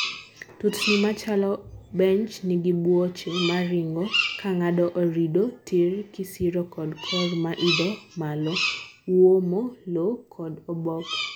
tutni machalo bench nigi buoche maringo kangado orido tirr kisiro kod korr maidho malo. Uomo lowo kod oboke.